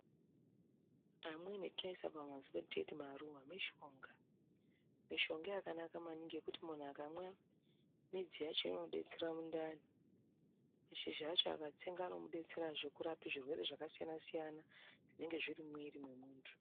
Amweni atinoisa pamizi pedu teiti maruva mishonga. Mishonga yakanaka maningi yekuti muntu akamwa midzi yacho inobetsera mundani mashizha acho akatsenga anomubetsera kurapa zvirwere zvakasiyana-siyana, zvinenge zviri mumwiri mwemuntu.